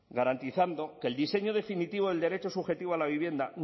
garantizando que el diseño definitivo del derecho subjetivo a la vivienda